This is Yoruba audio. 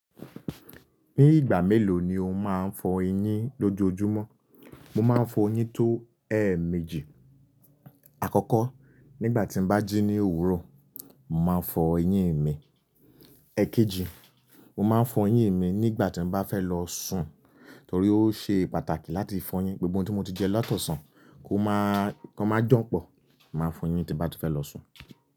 Ní ìgbà mélòó ni o máa ń fọ eyín lójoojúmọ́? Mo máa ń fọ eyín tó ẹẹ́méjì. Àkọ́kọ́ nígbà tí n bá jí ní òwúrọ̀, mo màá n fọ eyín mi. Èkejì, mo màá n fọ eyín mi nígbà tí mo bá fẹ́ lọ sùn. Torí ó ṣe pàtàkì láti fọ eyín. Gbogbo ntí mo ti jẹ lọ́ti ọ̀sán kó máa, kan má janpọ̀. Màá fọ eyín tí n bá ti fẹ́ lọ sùn.